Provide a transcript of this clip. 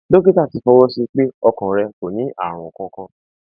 dókítà rẹ ti fọwọ sí i pé ọkàn rẹ kò ní ààrùn kankan